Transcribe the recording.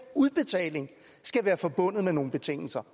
udbetaling skal være forbundet med nogle betingelser